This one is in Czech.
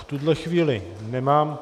V tuto chvíli nemám...